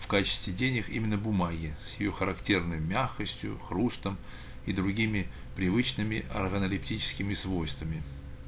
в качестве денег именно бумаги с её характерной мягкостью хрустом и другими привычными органолептическими свойствами